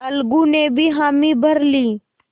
अलगू ने भी हामी भर ली